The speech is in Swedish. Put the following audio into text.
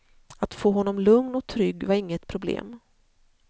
Att få honom lugn och trygg var inget problem.